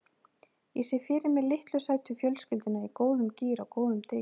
Ég sé fyrir mér litlu sætu fjölskylduna í góðum gír á góðum degi.